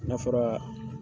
N'a fɔra